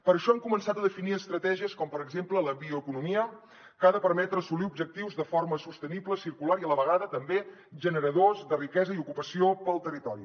per això hem començat a definir estratègies com per exemple la bioeconomia que ha de permetre assolir objectius de forma sostenible circular i a la vegada també generadors de riquesa i ocupació per al territori